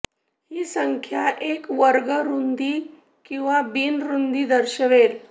ही संख्या एक वर्ग रूंदी किंवा बिन रूंदी दर्शवेल